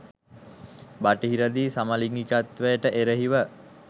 බටහිරදී සමලිගිකත්වයට එරෙහිව